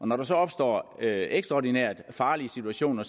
når der så opstår ekstraordinært farlige situationer